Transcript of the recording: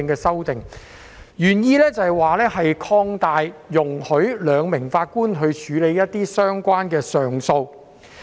修訂原意是容許由兩名法官處理一些相關的上訴案件。